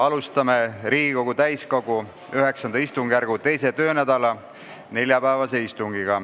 Alustame Riigikogu täiskogu IX istungjärgu 2. töönädala neljapäevast istungit.